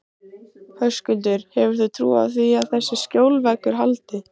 Höskuldur: Hefurðu trú á því að þessi skjólveggur haldi?